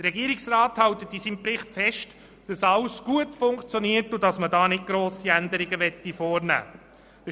Der Regierungsrat hält in seinem Bericht fest, dass alles gut funktioniert und er keine grossen Änderungen vornehmen will.